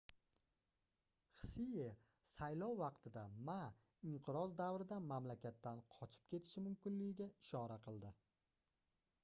hsie saylov vaqtida ma inqiroz davrida mamlakatdan qochib ketishi mumkinligiga ishora qildi